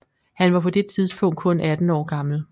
Han var på det tidspunkt kun 18 år gammel